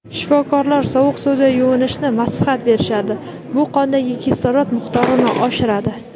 shifokorlar sovuq suvda yuvinishni maslahat berishadi: bu qondagi kislorod miqdorini oshiradi.